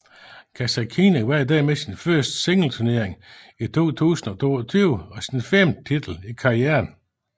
Kasatkina vandt dermed sin første singleturnering i 2022 og sin femte titel i karrieren